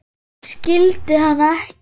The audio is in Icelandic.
Hún skildi hann ekki.